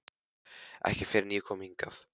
Ekki fyrr en ég kom hingað.